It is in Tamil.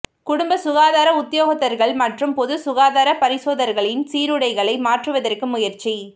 குடும்ப சுகாதார உத்தியோகத்தர்கள் மற்றும் பொதுச் சுகாதார பரிசோதகர்களின் சீருடைகளை மாற்றுவதற்கு முயற்சி